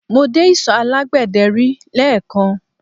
Mo dé isọ̀ alágbẹ̀dẹ́ rí lẹ́ẹ̀kan